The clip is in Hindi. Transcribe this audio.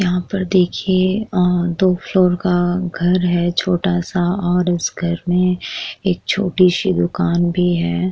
यहाँ पर देखिये आ दो फ्लोर का घर है छोटा सा और इस घर में एक छोटी सी दुकान भी है।